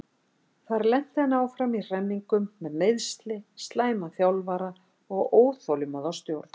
Þar lenti hann áfram í hremmingum með meiðsli, slæman þjálfara og óþolinmóða stjórn.